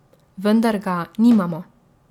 Vendar ga nimamo.